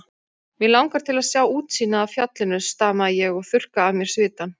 Mig langar til að sjá útsýnið af fjallinu stamaði ég og þurrkaði af mér svitann.